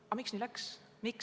Aga miks nii läks?